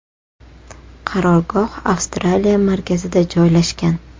Qarorgoh Avstraliya markazida joylashgan.